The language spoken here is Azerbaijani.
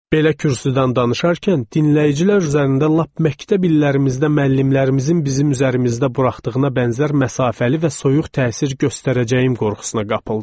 Belə kürsüdən danışarkən dinləyicilər üzərində lap məktəb illərimizdə müəllimlərimizin bizim üzərimizdə buraxdığına bənzər məsafəli və soyuq təsir göstərəcəyim qorxusuna qapıldım.